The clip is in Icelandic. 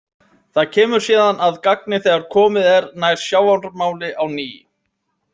Það kemur síðan að gagni þegar komið er nær sjávarmáli á ný.